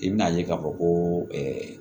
I bɛn'a ye k'a fɔ ko